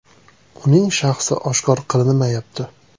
Uning shaxsi oshkor qilinmayapti.